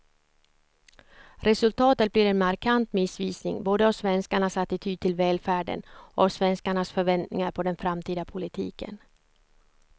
Resultatet blir en markant missvisning både av svenskarnas attityd till välfärden och av svenskarnas förväntningar på den framtida politiken.